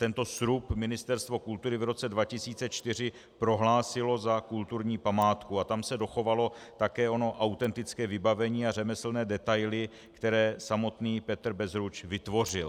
Tento srub Ministerstvo kultury v roce 2004 prohlásilo za kulturní památku a tam se dochovalo také ono autentické vybavení a řemeslné detaily, které samotný Petr Bezruč vytvořil.